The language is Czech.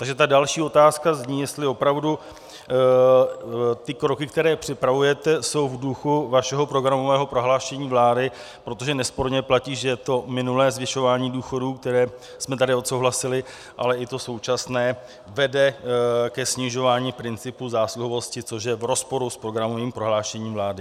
Takže ta další otázka zní, jestli opravdu ty kroky, které připravujete, jsou v duchu vašeho programového prohlášení vlády, protože nesporně platí, že to minulé zvyšování důchodů, které jsme tady odsouhlasili, ale i to současné vede ke snižování principu zásluhovosti, což je v rozporu s programovým prohlášením vlády.